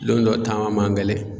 Lon dɔ taama man gɛlɛn.